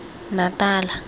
natala